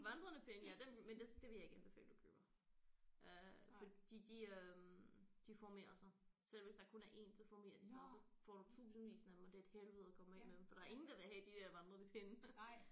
Vandrende pinde ja dem men det det ville jeg ikke anbefale du køber øh fordi de øh de formerer sig selv hvis der kun er 1 så formerer de sig og så får du tusindvis af dem og det er et helvede at komme af med dem for der er ingen der vil have de der vandrende pinde